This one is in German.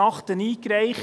eingereicht.